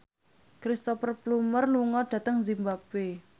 Cristhoper Plumer lunga dhateng zimbabwe